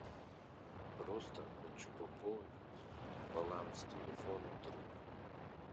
просто хочу пополнить баланс телефона друга